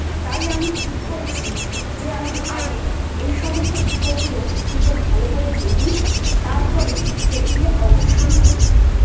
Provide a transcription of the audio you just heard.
তাই আমি ঠিক করেছি যে, আমি আগে এই সমস্ত বিষয়গুলো নিয়ে ভালো করে জেনে নি তারপরে Trekking অবশ্যই যাব।